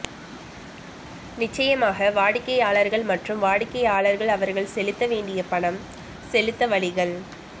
நிச்சயமாக வாடிக்கையாளர்கள் மற்றும் வாடிக்கையாளர்கள் அவர்கள் செலுத்த வேண்டிய பணம் செலுத்த வழிகள்